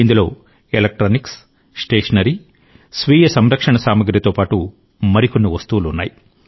ఇందులో electronics stationery స్వీయ సంరక్షణ సామగ్రితో పాటు మరికొన్నివస్తువులు ఉన్నాయి